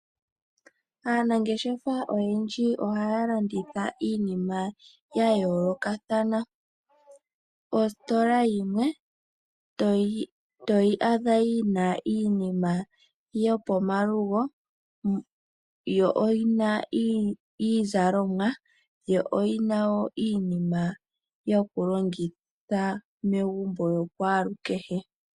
Aanangeshefa oyendji ohaya landitha iinima ya yoolokathana. Ositola yimwe to yi adha yi na iinima yo pomalugo, yo oyi na iizalomwa. Yo oyi na wo iinima iinima yokulongitha megumbo yokwalukehe.